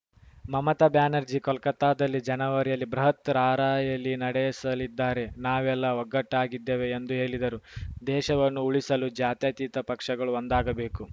ಮಮತಾ ಬ್ಯಾನರ್ಜಿ ಕೋಲ್ಕತಾದಲ್ಲಿ ಜನವರಿಯಲ್ಲಿ ಬೃಹತ್‌ ರಾರ‍ಯಲಿ ನಡೆಸಲಿದ್ದಾರೆ ನಾವೆಲ್ಲ ಒಗ್ಗಟ್ಟಾಗಿದ್ದೇವೆ ಎಂದು ಹೇಳಿದರು ದೇಶವನ್ನು ಉಳಿಸಲು ಜಾತ್ಯತೀತ ಪಕ್ಷಗಳು ಒಂದಾಗಬೇಕು